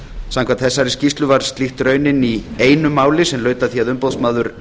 samkvæmt þessari skýrslu varð slíkt raunin í einu máli sem laut að því að umboðsmaður